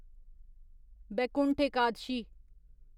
Vaikuntha Ekadashi